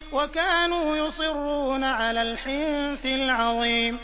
وَكَانُوا يُصِرُّونَ عَلَى الْحِنثِ الْعَظِيمِ